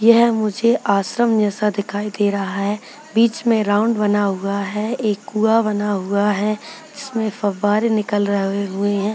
यह मुझे आश्रम जैसा दिखाई दे रहा है बीच में राउंड बना हुआ है एक कुआं बना हुआ है जिसमें फव्वारे निकल रहे हुए हैं।